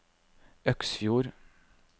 Øksfjord